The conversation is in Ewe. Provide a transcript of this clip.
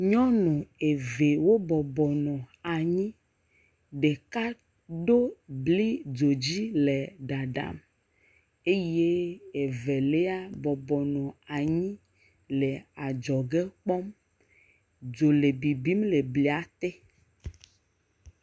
nyɔŋu evɛ wó bɔbɔ nɔ anyi ɖeka ɖó bli dzodzi le ɖaɖam eye evelia bɔbɔnɔ anyi le adzɔge kpɔm dzò le bibim le blia te